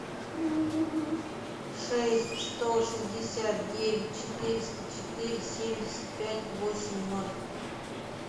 шесть сто шестьдесят девять четыреста четыре семьдесят пять восемь ноль